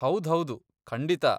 ಹೌದ್ಹೌದು, ಖಂಡಿತ.